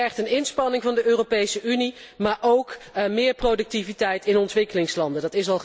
Dat vergt een inspanning van de Europese Unie, maar ook meer productiviteit in ontwikkelingslanden.